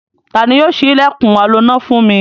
Ta ni yóò ṣí ilẹ̀kùn aloná fún mi?